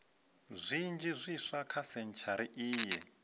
zwinzhi zwiswa kha sentshari iyi